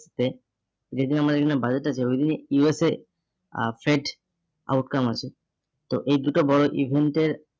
তে যেদিন আমার এখানে budget আছে ওইদিনই USA আহ trade outcome আছে তো এই দুটো বড় event এর